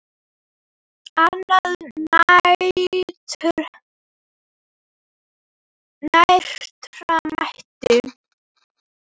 Annað nærtækt dæmi.